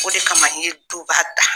O de kama n ye duba ta